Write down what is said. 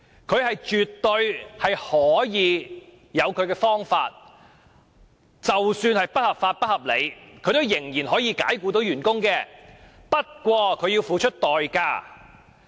僱主絕對可以用他的方法，即使是不合理及不合法的方法，解僱員工，不過，他要付出代價。